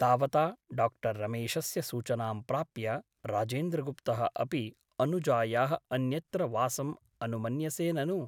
तावता डाक्टर् रमेशस्य सूचनां प्राप्य राजेन्द्रगुप्तः अपि अनुजायाः अन्यत्र वासम् अनुमन्यसे ननु ?